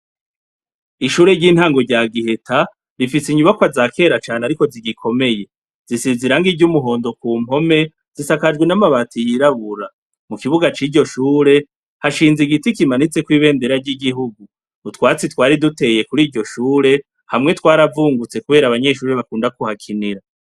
Ishure ry'intango rya giheta rifise inyubakwa za kera cane ariko zigikomeye, zisize irangi ry'umuhondo kumpome zisakajwe n'amabati yirabura, mu kibuga ciryo shure hashinze igiti kimanitseko ibendera ry'igihugu, utwatsi twari duteye kuriryo shure hamwe twaravungutse kubera abanyeshure bakunda kuhakinira.